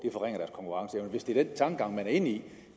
konkurrenceevne hvis det er den tankegang man er inde i